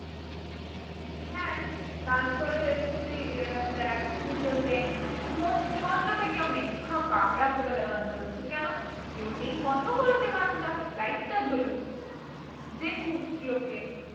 হ্যাঁ তারপরে তুই আহ দেখ পুজোতে মনমন্ডপে কেউ নেই ফাঁকা রাত্রেবেলা গান চলছে কেন? কেও নেই বন্ধ করে দে গানটা light টা জ্বলুক দেখুক লোকে